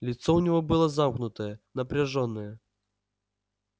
лицо у него было замкнутое напряжённое